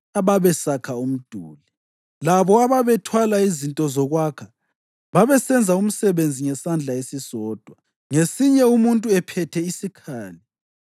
ababesakha umduli. Labo ababethwala izinto zokwakha babesenza umsebenzi ngesandla esisodwa ngesinye umuntu ephethe isikhali,